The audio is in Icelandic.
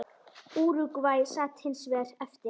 Úrúgvæ sat hins vegar eftir.